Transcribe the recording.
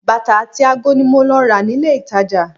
Bàtà àti ago ni mo lọ rà ní ilé-ìtàjà